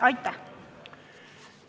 Aitäh!